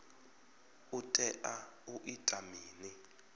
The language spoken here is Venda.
u tea u ita mini